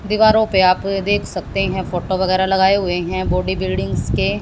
दीवारों पे आप देख सकते हैं फोटो वगैरह लगाए हुए हैं बॉडी बिल्डिंग्स के।